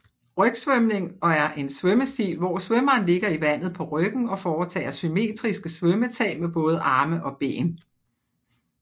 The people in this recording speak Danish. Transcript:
Rygsvømning er en svømmestil hvor svømmeren ligger i vandet på ryggen og foretager symmetriske svømmetag med både arme og ben